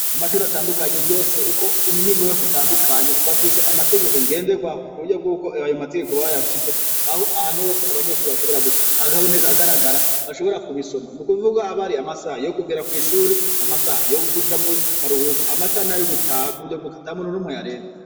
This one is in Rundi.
Kumashure atandukanye yose uko imihingo yose itandukanye bafise amategeko ngenderwaho kuburyo yuko ayo mategeko bayashize aho abantu bose bari abanyeshure aboneka ahagaragara bashobora gubisoma nukuvuga haba hari amasaha yokugera kwishure amasaha yo kuja mukaruhuko amasaha nayo gutaha ntamuntu numwe ayarenza